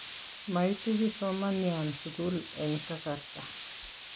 maitu kipsomanian sukul eng kasarta.